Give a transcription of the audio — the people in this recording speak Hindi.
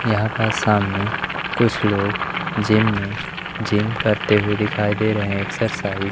यहां पास सामने कुछ लोग जिम में जिम करते हुए दिखाई दे रहे हैं एक्सरसाइज --